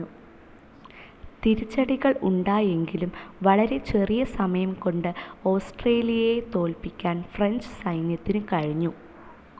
തിരിച്ചടികൾ ഉണ്ടായെങ്കിലും വളരെ ചെറിയ സമയം കൊണ്ട് ഓസ്ട്രിയയെ തോൽപ്പിക്കാൻ ഫ്രഞ്ച്‌ സൈന്യത്തിനു കഴിഞ്ഞു.